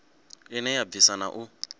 ine ya bvisa na u